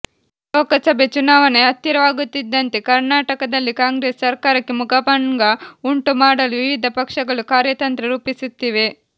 ಲೋಕಸಭೆ ಚುನಾವಣೆ ಹತ್ತಿರವಾಗುತ್ತಿದ್ದಂತೆ ಕರ್ನಾಟಕದಲ್ಲಿ ಕಾಂಗ್ರೆಸ್ ಸರ್ಕಾರಕ್ಕೆ ಮುಖಭಂಗ ಉಂಟು ಮಾಡಲು ವಿವಿಧ ಪಕ್ಷಗಳು ಕಾರ್ಯತಂತ್ರ ರೂಪಿಸುತ್ತಿವೆ